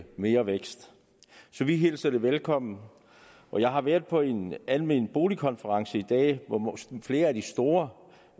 mere vækst så vi hilser det velkommen jeg har været på en almen bolig konference i dag hvor flere af de store